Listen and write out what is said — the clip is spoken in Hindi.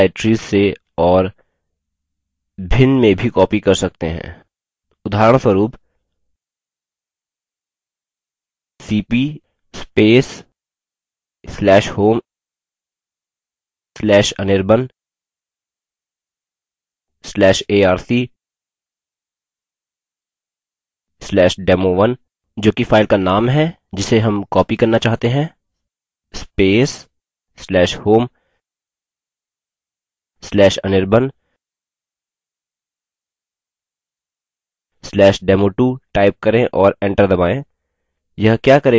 आप files को भिन्न directories से और भिन्न में भी copy कर सकते हैं उदाहरणस्वरूप $cp/home/anirban/arc/demo1 जो कि files का नाम है जिसे हम copy करना चाहते हैं/home/anirban/demo2 टाइप करें और एंटर दबायें